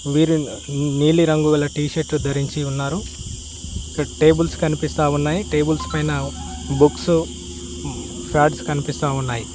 వీరు నీలిరంగుల టీషర్టు ధరించి ఉన్నారు ఇక్కడ టేబుల్స్ కనిపిస్తా ఉన్నాయి టేబుల్స్ పైన బుక్స్ ప్యాడ్స్ కనిపిస్తా ఉన్నాయి.